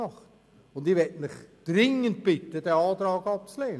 Ich bitte Sie dringend, diesen Antrag abzulehnen.